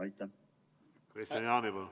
Kristian Jaani, palun!